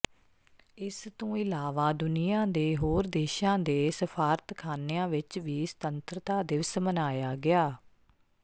ਇਸ ਤੋਂ ਇਲਾਵਾ ਦੁਨੀਆ ਦੇ ਹੋਰ ਦੇਸ਼ਾਂ ਦੇ ਸਫਾਰਤਖਾਨਿਆਂ ਵਿਚ ਵੀ ਸੁਤੰਤਰਤਾ ਦਿਵਸ ਮਨਾਇਆ ਗਿਆ